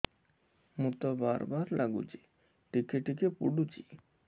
ମୁତ ବାର୍ ବାର୍ ଲାଗୁଚି ଟିକେ ଟିକେ ପୁଡୁଚି